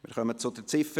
Wir kommen zu Ziffer